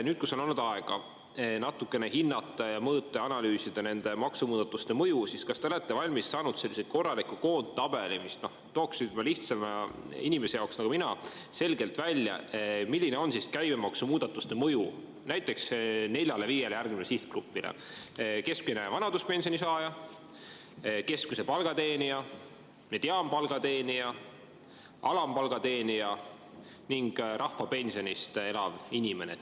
Nüüd, kui on olnud aega natukene hinnata ja mõõta ja analüüsida nende maksumuudatuste mõju, siis kas te olete valmis saanud sellise korraliku koondtabeli, mis tooks lihtsama inimese jaoks nagu mina selgelt välja, milline on käibemaksumuudatuste mõju näiteks neljale-viiele järgmisele sihtgrupile: keskmine vanaduspensioni saaja, keskmise palga teenija, mediaanpalga teenija, alampalga teenija ja rahvapensionist elav inimene?